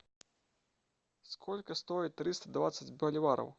сколько стоит триста двадцать боливаров